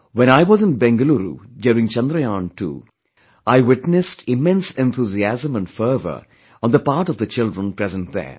When I was in Bengaluru during Chandrayan2, I witnessed immense enthusiasm & fervor on the part of the children present there